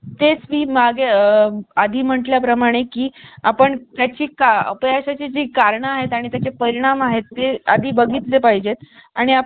आणखी एक table आहे